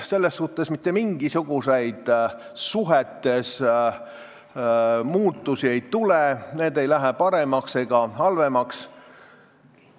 Selles suhtes mitte mingisuguseid muutusi suhetes ei tule, need ei lähe paremaks ega halvemaks.